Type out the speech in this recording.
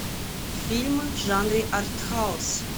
фильмы в жанре артхаус